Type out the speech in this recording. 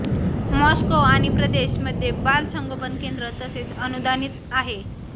Moscow आणि प्रदेश मध्ये बाल संगोपन केंद्रे तसेच अनुदानीत आहे